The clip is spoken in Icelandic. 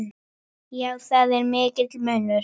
Já, það er mikill munur.